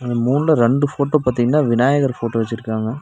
இந்த மூணுல ரெண்டு ஃபோட்டோ பாத்தீங்னா விநாயகர் ஃபோட்டோ வச்சுருக்காங்க.